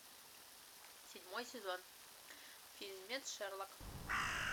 седьмой сезон фильмец шерлок